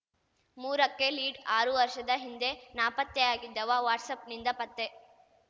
ಮೂರಕ್ಕೆ ಲೀಡ್‌ ಆರು ವರ್ಷದ ಹಿಂದೆ ನಾಪತ್ತೆಯಾಗಿದ್ದವ ವಾಟ್ಸಪ್‌ನಿಂದ ಪತ್ತೆ